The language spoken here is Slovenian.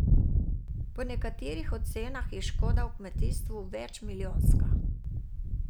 Po nekaterih ocenah je škoda v kmetijstvu večmilijonska.